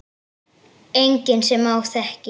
Enginn sem ég þekki.